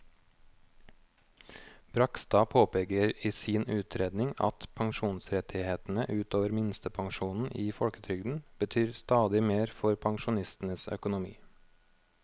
Bragstad påpeker i sin utredning at pensjonsrettighetene ut over minstepensjonen i folketrygden betyr stadig mer for pensjonistenes økonomi.